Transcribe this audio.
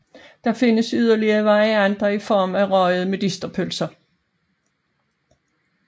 Der findes yderligere varianter i form af røgede medisterpølser